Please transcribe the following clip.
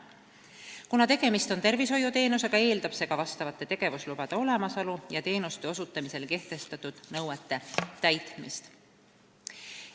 Kuna tegemist on tervishoiuteenusega, eeldab see ka vastavate tegevuslubade olemasolu ja teenuseosutamisele kehtestatud nõuete täitmist.